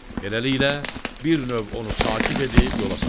Beləliklə, bir növ onu sakit edib yola salırlar.